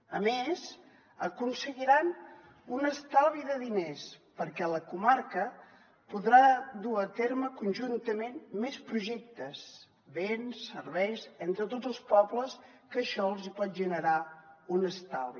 a més aconseguiran un estalvi de diners perquè la comarca podrà dur a terme conjuntament més projectes béns i serveis entre tots els pobles que això els pot generar un estalvi